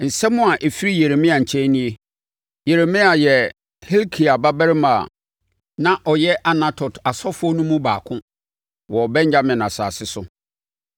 Nsɛm a ɛfiri Yeremia nkyɛn nie. Yeremia yɛ Hilkia babarima a na ɔyɛ Anatot asɔfoɔ no mu baako wɔ Benyamin asase so.